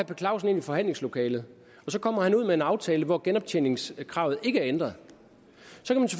per clausen ind i forhandlingslokalet og så kommer han ud med en aftale hvor genoptjeningskravet ikke er ændret